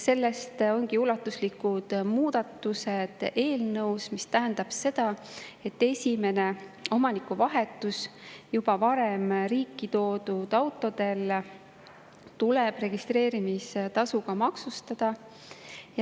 Sellest ongi ulatuslikud muudatused eelnõus, mis tähendab seda, et esimene omanikuvahetus juba varem riiki toodud autodel tuleb registreerimistasuga maksustada.